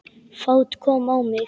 Fát kom á mig.